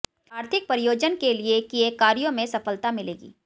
आर्थिक प्रयोजन के लिए किये कार्यों में सफलता मिलेगी